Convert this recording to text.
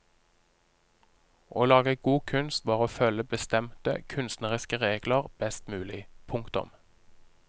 Å lage god kunst var å følge bestemte kunstneriske regler best mulig. punktum